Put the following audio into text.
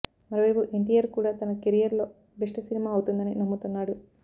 మరో వైపు ఎన్టీఆర్ కూడా తన కెరియర్ లో బెస్ట్ సినిమా అవుతుందని నమ్ముతున్నాడు